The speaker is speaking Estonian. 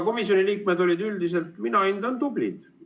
Komisjoni liikmed olid üldiselt minu hinnangul tublid.